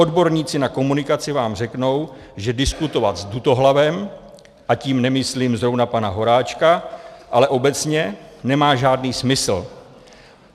Odborníci na komunikaci vám řeknou, že diskutovat s dutohlavem, a tím nemyslím zrovna pana Horáčka, ale obecně, nemá žádný smysl.